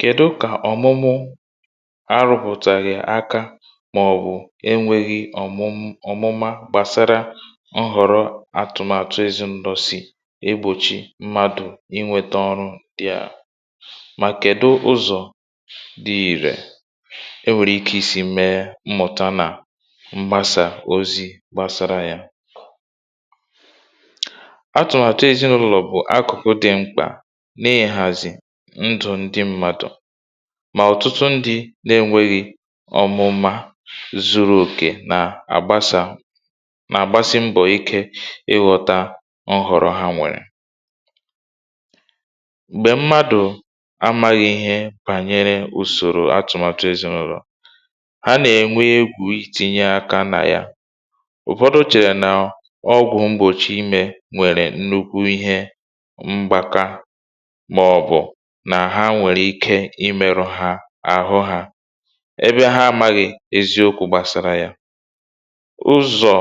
kèdu kà ọ̀mụmụ arụpụ̀tàghị̀ aka màọ̀bụ̀ enwėghi ọ̀mụma gbàsara nhọ̀rọ atụ̀màtụ ezi ṅdọsị̀ egbòchi mmadụ̇ inwėtȧ ọrụ dị̀ a mà kèdu ụzọ̀ dị̀ ìrè enwèrè ike isi̇ mee mmụ̀ta nà mgbasa ozi gbasara yȧ ndù ndị mmadụ̀ mà ọ̀tụtụ ndị na-enwėghi̇ ọmụma zuru òkè nà àgbasà nà-àgbasi mbọ̀ ike ịghọ̇ta nhọ̀rọ̀ ha nwèrè m̀gbè mmadụ̀ amaghị̇ ihe bànyere ùsòrò atụ̀màtụ èzinàụ̀rụ̀ ha nà-ènwe egwuitinye aka nà ya ụ̀fọdụ chèrè nà ọgwụ̀ mgbòchi imė nwèrè nnukwu ihe màọ̀bụ̀ nà ha nwèrè ike imėrù ha àhụ hȧ ebe ha amaghị̀ eziokwu̇ gbàsàrà yà ụzọ̀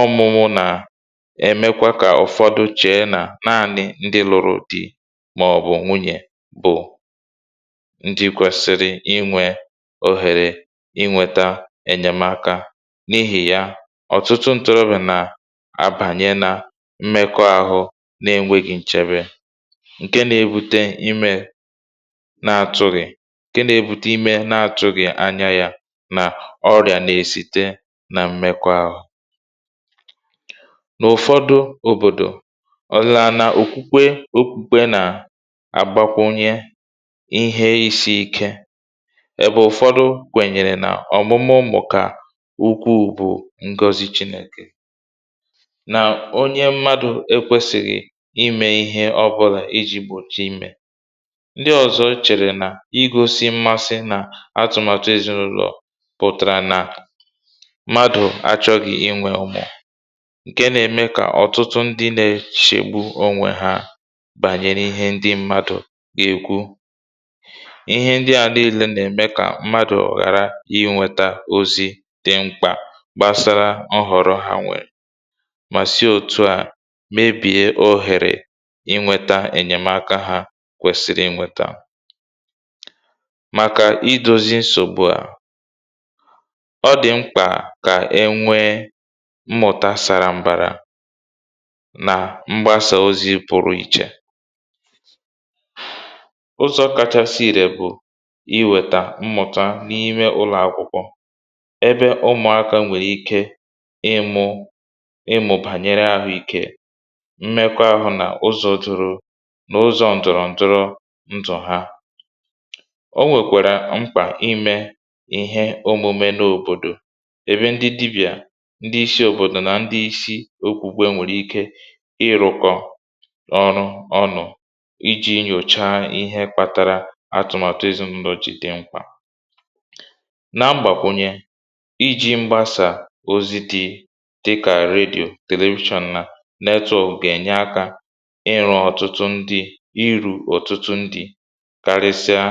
ọmụ̇mụ̇ nà-èmekwa kà ụ̀fọdụ chee nà naȧnị ndị lụrụ dị màọ̀bụ̀ nwunyè bụ̀ ndị kwèsìrì inwė òhèrè inwėtȧ ènyèmaka n’ihì ya ọ̀tụtụ ntụrụbị̀nà àbànyè nà mmekọ àhụ na-enwėghi̇ nchebe ǹke nȧ-ėbute imė na-atụ̇ghị̀ ǹke nȧ-ėbute imė na-atụ̇ghị̀ ànyà yà nà ọrị̀à nà-èsite nà m̀mekwa ahụ̀ n’ụ̀fọdụ òbòdò ọ laa nà òkwukwe okwu̇kwe nà àgbakwụ nye ihe isi̇ ike ebe ụ̀fọdụ gwènyèrè nà ọ̀mụmụ mà ka ukwu̇ bụ̀ ngọzi chinèkè nà onye mmadụ̇ ekwesìrì imė ihe ọbụlà ndị ọzọ chèrè nà igosi mmasị nà atụ̀màtụ èzinụ̇lọ̀ pụ̀tàrà nà mmadụ̀ achọ̇ghi̇ inwė ụmụ̀ ǹke nà-ème kà ọ̀tụtụ ndị nà-echègbu onwe ha bànyere ihe ndị mmadụ̀ gà-èkwu ihe ndị à nille nà-ème kà mmadụ̀ ghàra iweta ozi̇ dị mkpà gbasara ọhọ̀rọ̀ hàwèrè kwèsìrì i nwètà màkà idòzi nsògbu à ọ dị̀ mkpà kà e nwee mmụtà sàrà mbàrà nà mgbasà ozi pụrụ̇ ichè ụzọ̇ kachasị ìrè bụ̀ iwètà mmụ̀tà n’ime ụlọ̀akwụkwọ ebe ụmụakȧ nwèrè ike ịmụ̇ ịmụ̇ bànyèrè àhụ ikė mmekwa àhụ̇ nà ụzọ̇ duru ǹdụ̀rọ ǹdụ̀ ha o nwèkwàrà mkpà imė ihe omume n’òbòdò ebe ndị dibịà ndị isi òbòdò nà ndị isi okwùgbe nwèrè ike ịrụ̀kọ̀ ọrụ ọnụ̇ iji̇ nyòcha ihe kpȧtara atụ̀màtụ èzinàlọ̀jìtì mkpà n’agbàkwụ̀nyè iji̇ mgbasà ozi̇ dị̀ dịkà redyò television na network gà-ènye akȧ karịsịa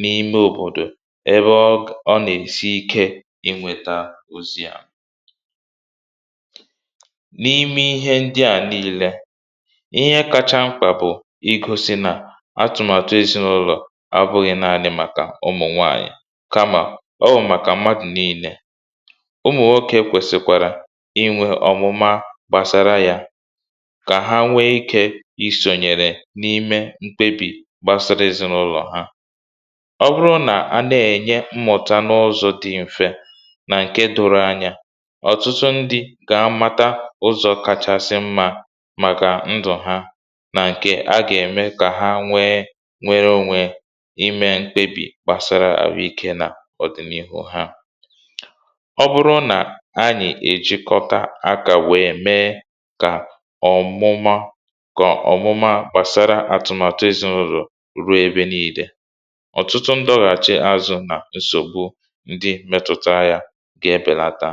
n’ime òbòdò ebe ọ gọ̀ nà-èsi ike inwė tà ozi à n’ime ihe ndị à nii̇lė ihe kacha mkpà bụ̀ igosi nà atụ̀màtụ èsinulọ̀ abụghị̇ n’anị màkà ụmụ̀ nwanyị kamà o màkà mmadụ̀ nii̇lė ụmụ̀ oke kwèsìkwàrà inwė ọ̀mụma gbàsara yȧ kpebì gbasara èzinàụlọ̀ ha ọ bụrụ nà a na-ènye mmụ̀ta n’ụzọ̇ dị m̀fe nà ǹkè dụrụ anyȧ ọtụtụ ndị gà à mata ụzọ̇ kàchàsị mmȧ màkà ndụ̀ ha nà ǹkè a gà-ème kà ha nwẹ nwẹrẹ onwẹ i mee mkpebì gbàsara àhụ ikė nà ọ̀dị̀nihu ha ọ bụrụ nà anyị̀ èjikọta aka wee mee kà ọ̀mụma ruo ebe nà idė ọ̀tụtụ ndọ̇ghàchì azụ̇ nà nsògbu ndị metụta ya ga-ebèlata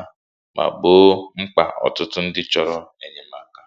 mà kpo mkpà ọ̀tụtụ ndị chọ̀rọ̀ ènyèmaka